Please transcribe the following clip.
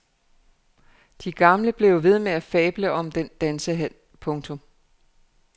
De gamle blev jo ved med at fable om den dansehal. punktum